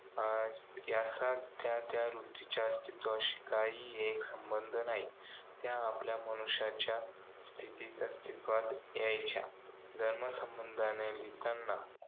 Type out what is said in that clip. आज, या सध्या त्या वृत्तीच्या अस्तित्वाशी काही एक संबंध नाही. त्या आपल्या मनुष्याच्या स्थितीत अस्तित्वात यायच्या. धर्म संबंधाने लिहिताना.